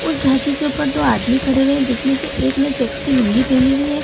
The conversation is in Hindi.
उस झांकी के ऊपर दो आदमी खड़े हुए है जिसमें से एक ने चेक्स की लूंगी पहनी हुई है।